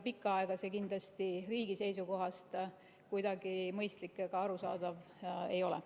Pikka aega seda teha kindlasti riigi seisukohast kuidagi mõistlik ega arusaadav ei ole.